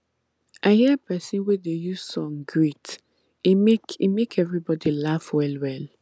i hear persin wey dey use song greet e make e make everybody laugh well well